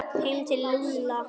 Heim til Lúlla!